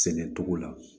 Sɛnɛ togo la